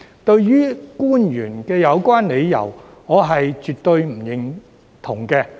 對於官員的有關理由，我絕不認同。